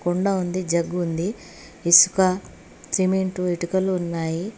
కుండ ఉంది జగ్గు ఉంది ఇసుక సిమెంట్ ఇటుకలు ఉన్నాయి.